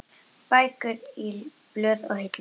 Bækur og blöð í hillum.